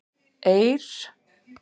Eir